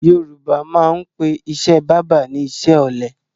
Yorùbá a máa pè ìṣe báábà ni iṣẹ́ ọ̀lẹ